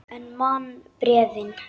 En man bréfin.